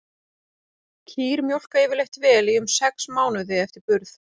Kýr mjólka yfirleitt vel í um sex mánuði eftir burð.